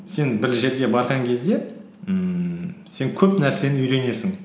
сен бір жерге барған кезде ммм сен көп нәрсені үйренесің